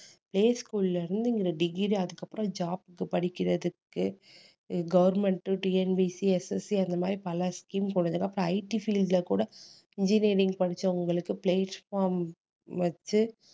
play school ல இருந்து இங்க degree அதுக்கப்புறம் job க்கு படிக்கிறதுக்கு அஹ் government உம் TNPSCSSC அந்த மாதிரி பல scheme போனதுக்கு அப்புறம் IT field ல கூட engineering படிச்சவங்களுக்கு placement வச்சு